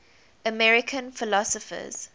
american philosophers